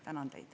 Tänan teid.